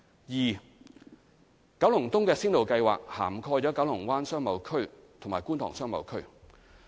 二九龍東的先導計劃涵蓋九龍灣商貿區和觀塘商貿區。